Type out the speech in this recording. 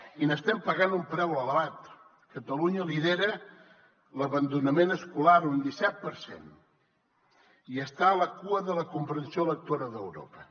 i n’estem pagant un preu elevat catalunya lidera l’abandonament escolar un disset per cent i està a la cua de la comprensió lectora d’europa